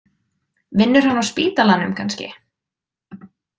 Vinnur hann á spítalanum, kannski?